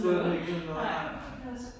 Der skulle han ikke nyde noget nej nej